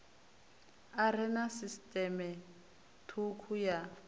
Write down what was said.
are na sisiṱeme thukhu ya